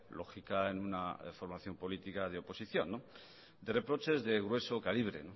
lógica en una formación política de oposición de reproches de grueso calibre